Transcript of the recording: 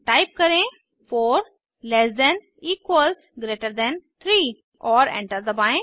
type करें4 less than equals greater than 3 और enter दबाएं